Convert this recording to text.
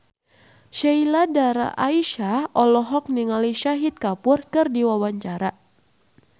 Sheila Dara Aisha olohok ningali Shahid Kapoor keur diwawancara